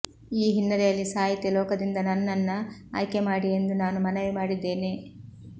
ಈ ಹಿನ್ನೆಲೆಯಲ್ಲಿ ಸಾಹಿತ್ಯ ಲೋಕದಿಂದ ನನ್ನನ್ನ ಆಯ್ಕೆ ಮಾಡಿ ಎಂದು ಮನವಿ ಮಾಡಿದ್ದೇನೆ